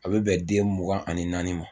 A bɛ bɛn den mugan ani naani ma